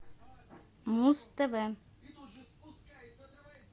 муз тв